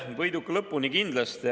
Võiduka lõpuni kindlasti.